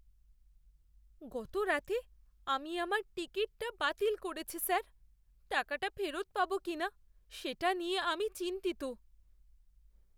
গতরাতে আমি আমার টিকিটটা বাতিল করেছি, স্যার। টাকাটা ফেরত পাবো কিনা সেটা নিয়ে আমি চিন্তিত।